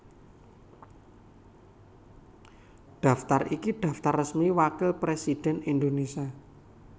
Daftar iki daftar resmi Wakil Presidhèn Indonésia